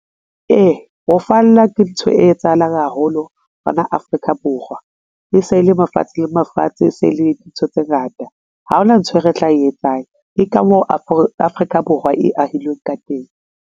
Ee, ho falla ke ntho e etsahalang haholo mona Afrika Borwa. E se e le mafatshe le mafatshe se le dintho tse ngata, ha hona nthwe re tla e etsang. E ka mo Afrika Borwa e ahilweng ka teng.